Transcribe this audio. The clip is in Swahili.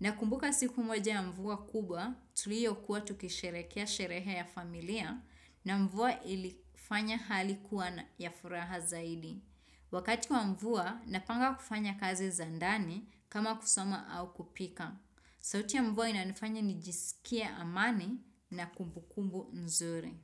Nakumbuka siku moja ya mvua kubwa, tuliokuwa tukisherekea sherehe ya familia na mvua ilifanya hali kuwa ya furaha zaidi. Wakati wa mvua, napanga kufanya kazi za ndani kama kusoma au kupika. Sauti ya mvua inanifanya nijisikie amani na kumbukumbu nzuri.